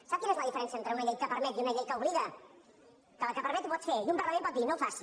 sap quina és la diferència entre una llei que permet i una llei que obliga que la que permet ho pot fer i un parlament pot dir no ho faci